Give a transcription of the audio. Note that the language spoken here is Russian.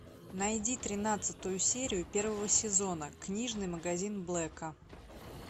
найди тринадцатую серию первого сезона книжный магазин блэка